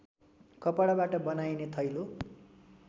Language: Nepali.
कपडाबाट बनाइने थैलो